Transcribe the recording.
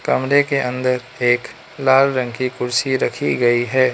कमरे के अंदर एक लाल रंग की कुर्सी रखी गयी है।